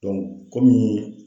komi.